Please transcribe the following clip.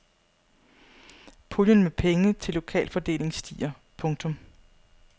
Puljen med penge til lokal fordeling stiger. punktum